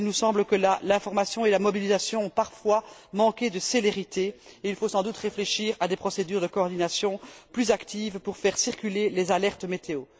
Il nous semble que l'information et la mobilisation ont parfois manqué de célérité et il faut sans doute réfléchir à des procédures de coordination plus actives pour faire circuler les alertes météo.